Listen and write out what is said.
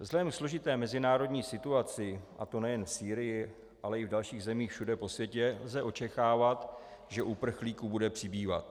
Vzhledem ke složité mezinárodní situaci, a to nejen v Sýrii, ale i v dalších zemích všude po světě, lze očekávat, že uprchlíků bude přibývat.